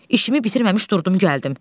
İşimi bitirməmiş durdum gəldim.